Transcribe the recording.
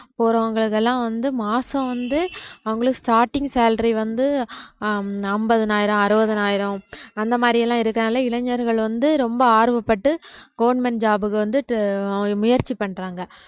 போறவங்க இதெல்லாம் வந்து மாசம் வந்து அவுங்களுக்கு starting salary வந்து அஹ் ஐம்~ ஐம்பதினாயிரம் அறுவதினாயிரம் அந்த மாதிரி எல்லாம் இருக்கனால இளைஞர்கள் வந்து ரொம்ப ஆர்வப்பட்டு government job க்கு வந்துட்டு tr~ ஆஹ் முயற்சி பண்றாங்க